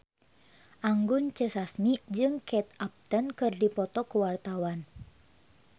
Anggun C. Sasmi jeung Kate Upton keur dipoto ku wartawan